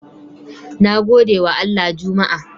Nagodewa Allah juma'a